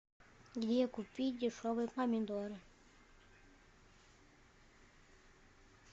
где купить дешевые помидоры